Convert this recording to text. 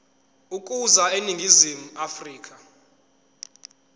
ukuza eningizimu afrika